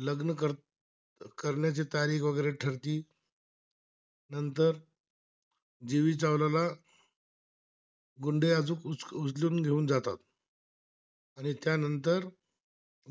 गुंडे आजू अजून उजलुन घेऊन जाता आणि त्यानंतर